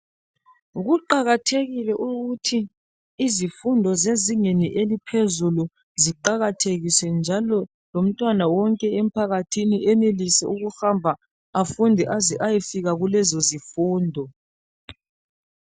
kuqakathekile ukuthi izifundo zezingeni eliphezulu ziqakathekiswe njalo lomntwana wonke emphakathini enelise ukuhamba afunde aze eyefika kulezozifundo